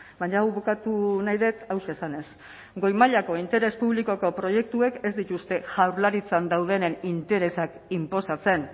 baina hau bukatu nahi dut hauxe esanez goi mailako interes publikoko proiektuek ez dituzte jaurlaritzan daudenen interesak inposatzen